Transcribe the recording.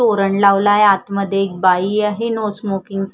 तोरण लावलय आत मध्ये एक बाई आहे नो स्मोकिंग चं --